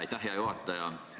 Aitäh, hea juhataja!